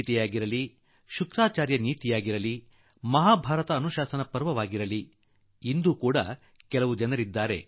ಗೀತೆಯಾಗಲಿ ಶುಕ್ರಾಚಾರ್ಯ ನೀತಿಯಾಗಲಿ ಮಹಾಭಾರತ ಅನುಶಾಸನ ಪರ್ವವಾಗಲಿ ನಮ್ಮ ಶಾಸ್ತ್ರಗಳು ಗಿಡ ಮರಗಳ ಮಹತ್ವವನ್ನು ಸಾರಿ ಹೇಳಿವೆ